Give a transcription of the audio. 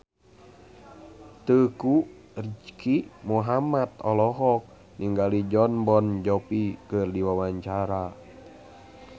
Teuku Rizky Muhammad olohok ningali Jon Bon Jovi keur diwawancara